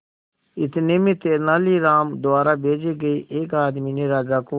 इतने में तेनालीराम द्वारा भेजे गए एक आदमी ने राजा को